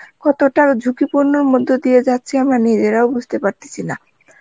কতটা ঝুকি পুরনোর মধ্যে দিয়ে যাচ্ছি আমরা নিজেরাও বুজতে পারতাছি না